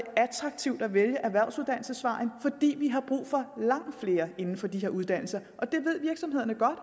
attraktivt at vælge erhvervsuddannelsesvejen fordi vi har brug for langt flere inden for de her uddannelser og det ved virksomhederne godt